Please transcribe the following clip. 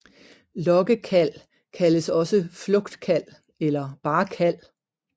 Lokkekald kaldes også flugtkald eller bare kald